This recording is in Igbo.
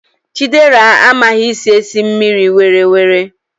Chidera amaghi esi esi mmiri, were were!